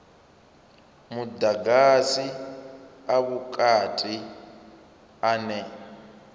a mudagasi a vhukati ane